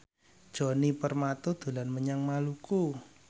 Djoni Permato dolan menyang Maluku